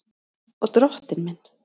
Og Drottinn minn!